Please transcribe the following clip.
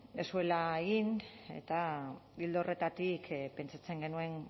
ez zuela egin eta ildo horretatik pentsatzen genuen